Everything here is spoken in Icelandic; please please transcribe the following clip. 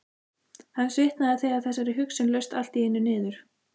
Hann svitnaði þegar þessari hugsun laust allt í einu niður.